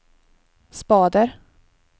spader